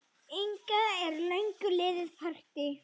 ingar um löngu liðið partý.